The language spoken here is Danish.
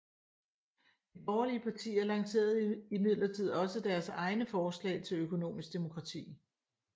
De borgerlige partier lancererede imidlertid også deres egne forslag til økonomisk demokrati